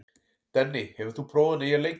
Denni, hefur þú prófað nýja leikinn?